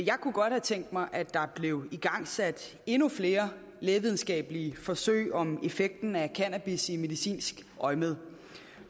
jeg kunne godt have tænkt mig at der blev igangsat endnu flere lægevidenskabelige forsøg om effekten af cannabis i medicinsk øjemed